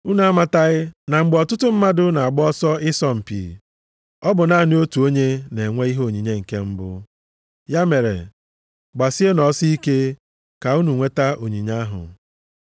Unu amataghị na mgbe ọtụtụ mmadụ na-agba ọsọ ịsọ mpi, ọ bụ naanị otu onye na-enwe ihe onyinye nke mbụ? Ya mere, gbasienụ ọsọ ike, ka unu nweta onyinye ahụ.